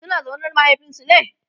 suna zaune da mahaifinsu ne?